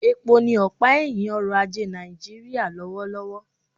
Epo ni ọ̀pá ẹ̀hìn ọrọ̀ ajé Nàìjíríà lọ́wọ́lọ́wọ́